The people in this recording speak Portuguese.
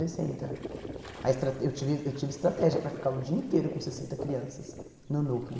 sessenta. A estra eu tive eu tive estratégia para ficar o dia inteiro com sessenta crianças no núcleo.